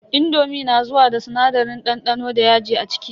indomi na zuwa da sinadarin dandano da yaji a ciki.